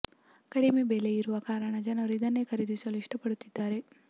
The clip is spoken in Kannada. ಕಡಿಮೆ ಬೆಲೆ ಇರುವ ಕಾರಣ ಜನರು ಇದನ್ನೇ ಖರೀದಿಸಲು ಇಷ್ಟ ಪಡುತ್ತಿದ್ದಾರೆ